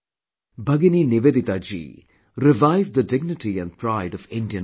Bhagini Nivedita ji revived the dignity and pride of Indian culture